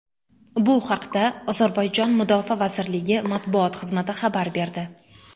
Bu haqda Ozarbayjon mudofaa vazirligi matbuot xizmati xabar berdi .